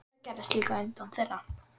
Það gerðist líka utan þeirra.